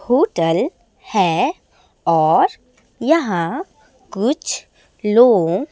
hotel है और यहां कुछ लोग--